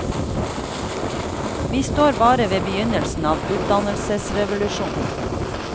Vi står bare ved begynnelsen av utdannelsesrevolusjonen.